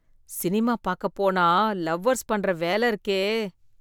Cinema பாக்கப் போனா lovers பண்ற வேல இருக்கே.